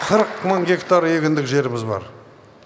қырық мың гектар егіндік жеріміз бар